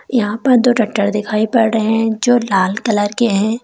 यहां पर दो ट्रैक्टर दिखाई पड़ रहे हैं जो लाल कलर के हैं।